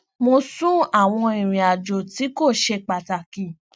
mo sún àwọn ìrìnàjò tí kò ṣe pàtàkì